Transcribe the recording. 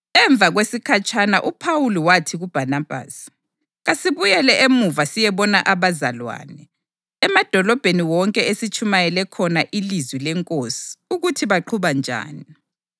Emva kwesikhatshanyana uPhawuli wathi kuBhanabhasi, “Kasibuyele emuva siyebona abazalwane emadolobheni wonke esitshumayele khona ilizwi leNkosi ukuthi baqhuba njani.”